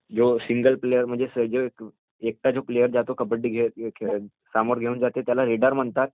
जो single player म्हणजे एकटा जो प्लेयर जातो कबड्डी खेळत समोर घेऊन जाते त्याला रेडर म्हणतात